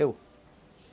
Eu?